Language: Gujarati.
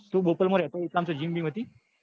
તું બોપલ માં રેતો એટલા માં કોઈ gym વીમ હતી?